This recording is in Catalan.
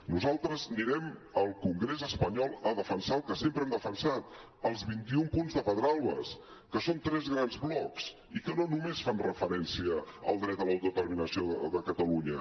nosaltres anirem al congrés espanyol a defensar el que sempre hem defensat els vint i un punts de pedralbes que són tres grans blocs i que no només fan referència al dret a l’autodeterminació de catalunya